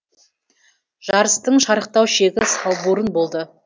жарыстың шарықтау шегі салбурын болды